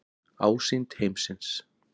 Ásýnd heimsins.